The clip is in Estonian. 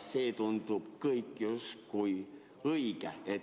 See tundub kõik justkui õige.